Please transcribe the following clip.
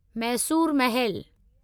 Mysore Mahal